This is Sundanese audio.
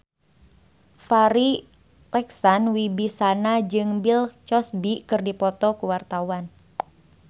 Farri Icksan Wibisana jeung Bill Cosby keur dipoto ku wartawan